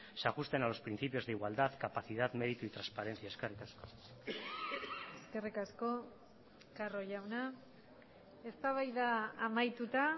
se ajusten a los principios de igualdad capacidad mérito y transparencia eskerrik asko eskerrik asko carro jauna eztabaida amaituta